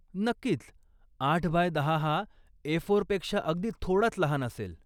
नक्कीच, आठ बाय दहा हा ए फोर पेक्षा अगदी थोडाच लहान असेल.